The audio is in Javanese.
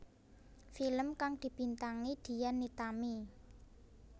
Film kang dibintangi Dian Nitami